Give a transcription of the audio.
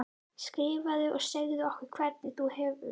Skrifaðu og segðu okkur hvernig þú hefur það.